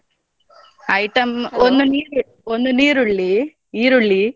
Item ಒಂದ್ ನೀರ್~ ಒಂದ್ ನೀರುಳ್ಳಿ ಈರುಳ್ಳಿ.